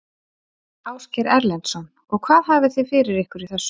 Ásgeir Erlendsson: Og hvað hafiði fyrir ykkur í þessu?